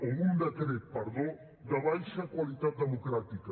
o d’un decret perdó de baixa qualitat democràtica